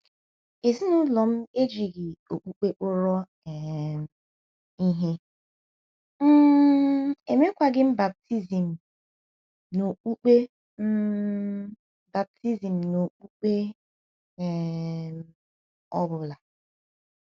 “ Ezinụlọ m ejighị okpukpe kpọrọ um ihe, um e meghịkwa m baptizim n’okpukpe um baptizim n’okpukpe um ọ bụla.